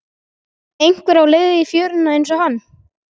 Einhver á leið í fjöruna einsog hann.